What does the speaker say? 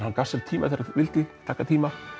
hann gaf sér tíma þegar hann vildi taka tíma